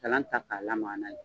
Kalan ta ka lamaa n'a ye.